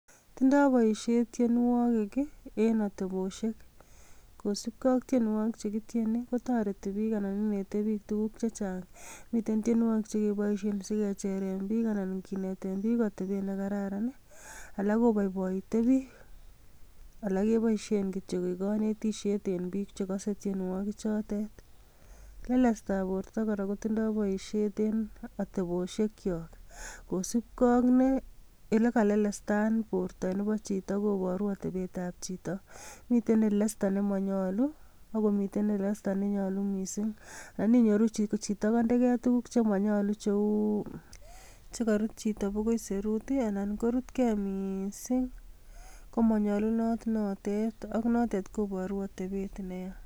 Tindo boisiet tienwogik ii en atebosiek kosipke ak tienwogik che kityieni kotoreti biik anan inete biik tuguk che chang. Miten tienwogik che keboisien si kecheren biik anan kineten biik atebet ne kararan, alak koboiboite biik, alak keboisien kityok koeg konetisyet eng bik che kose tienwogik chotet. Lelestab borto kora kotindo boisiet en atebosiekyok. Kosupke ak ne, elekalelestan borto nebo chito koboru atebetab chito. Mite lelesta nemanyalu ago miten lelesta nenyalu mising. Nan inyoruch, chito kandege tuguk che manyalu cheu chegarut chito bogoi serut ii anan korutkei miising, komanyalunot notet ak notet kobaru atebet neya.